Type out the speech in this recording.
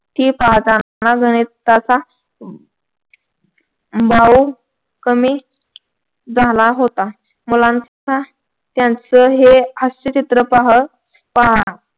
ती पाहताना गणिताचा भाव कमी झाला होता. मुलाच्या त्यांचं हे हास्यचित्र पाह पहा.